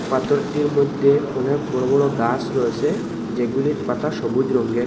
পাথরটির মধ্যে অনেক বড় বড় গা়স রয়েছে যেগুলির পাতা সবুজ রংগের।